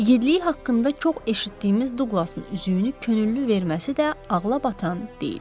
İgidliyi haqqında çox eşitdiyimiz Duqlasın üzüyünü könüllü verməsi də ağla batan deyil.